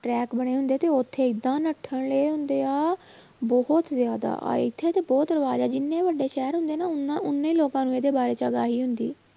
Track ਬਣੇ ਹੁੰਦੇ ਤੇ ਉੱਥੇੇ ਏਦਾਂ ਨੱਠਣ ਰਹੇ ਹੁੰਦੇ ਆ ਬਹੁਤ ਜ਼ਿਆਦਾ, ਆਹ ਇੱਥੇ ਤੇ ਬਹੁਤ ਰਿਵਾਜ਼ ਆ ਜਿੰਨੇ ਵੱਡੇ ਸ਼ਹਿਰ ਹੁੰਦੇ ਨਾ ਉਨਾ ਉਨੇ ਲੋਕਾਂ ਨੂੰ ਇਹਦੇ ਬਾਰੇ ਹੁੰਦੀ